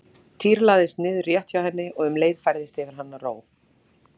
Týri lagðist niður rétt hjá henni og um leið færðist yfir hana ró.